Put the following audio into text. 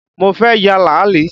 Mo fẹ́ ya làálì